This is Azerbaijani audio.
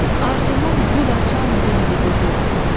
Arzumun gül açan günüdür bu gün.